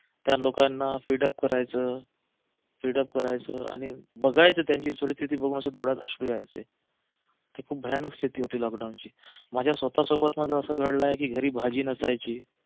त्या लोकांना feed up करायचं feed up करायचं आणि बघायचं त्यांची परिस्थिती बघून डोळ्यात अशे अश्रू यायचे ती खूप भयानक स्थिती होती लॉकडाऊनची माझ्या स्वतः सोबत माझं असं घडलं आहे की घरी भाजी नसायची